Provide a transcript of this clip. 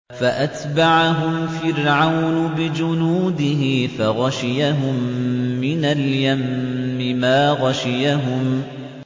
فَأَتْبَعَهُمْ فِرْعَوْنُ بِجُنُودِهِ فَغَشِيَهُم مِّنَ الْيَمِّ مَا غَشِيَهُمْ